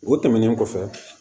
O tɛmɛnen kɔfɛ